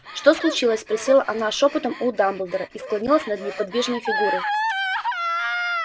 что случилось спросила она шёпотом у дамблдора и склонилась над неподвижной фигурой